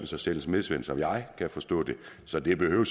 så selv en smedesvend som jeg kan forstå det så det behøver